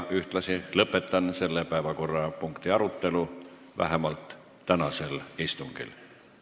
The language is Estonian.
Ühtlasi lõpetan selle teema arutelu vähemalt tänasel istungil.